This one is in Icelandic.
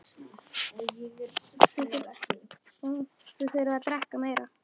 Þið þurfið að drekka meira.